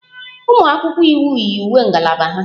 Ụmụ akwụkwọ iwu yi uwe ngalaba ha